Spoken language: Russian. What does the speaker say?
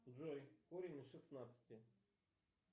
джой корень из шестнадцати